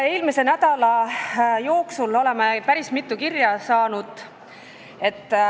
Eelmise nädala jooksul saime päris mitu kirja.